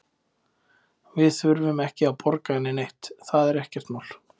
Við þurfum ekki að borga henni neitt, það er ekkert mál.